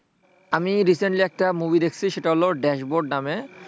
আমি recently একটা movie দেখছি সেটা হল ড্যাশবোর্ড নাম,